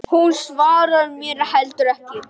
Hún svarar mér heldur ekki.